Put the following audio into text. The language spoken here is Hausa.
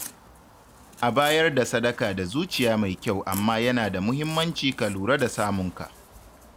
A bayar da sadaka da zuciya mai kyau amma yana da muhimmanci ka lura da samunka.